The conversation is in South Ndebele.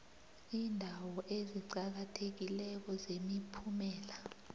iindawo eziqakathekileko zemiphumela